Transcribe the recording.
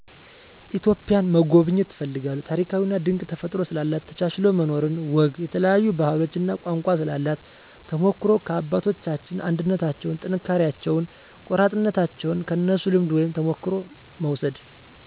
ኢትዮጵያን መጎብኘት እፈልጋለሁ ታሪካዊና ድንቅ ተፈጥሮ ስላላት፣ ተቻችሎ መኖርን፣ ወግ፣ የተለያዮ ባህሎች እና ቋንቋ ስላሏት ተሞክሮዉ ከአባቶቻችን አንድነታቸዉን፣ ጥንካሬያቸውን፣ ቆራጥነታቸዉን ከነሱ ልምድ ወይም ተሞክሮ መዉሰድ